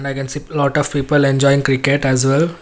I can see lot of people enjoying cricket as well.